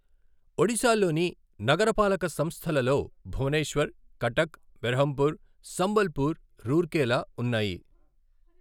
ఒడిశాలోని నగరపాలక సంస్థలలో భువనేశ్వర్, కటక్, బెర్హంపూర్, సంబల్పూర్, రూర్కేలా ఉన్నాయి.